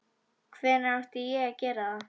Hvenær átti ég að gera það?